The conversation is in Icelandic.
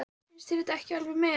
Finnst þér þetta ekki alveg met!